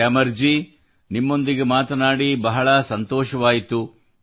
ಗ್ಯಾಮರ್ ಜೀ ನಿಮ್ಮೊಂದಿಗೆ ಮಾತನಾಡಿ ಬಹಳ ಸಂತೋಷವಾಯಿತು